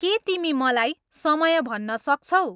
के तिमी मलाई समय भन्न सक्छौ